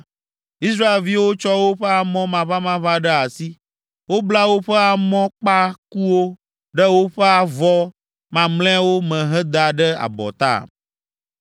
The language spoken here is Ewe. Israelviwo tsɔ woƒe amɔ maʋamaʋã ɖe asi. Wobla woƒe amɔkpakuwo ɖe woƒe avɔ mamlɛawo me heda ɖe abɔta.